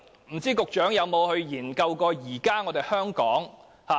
不知道局長曾否研究現時香港的情況。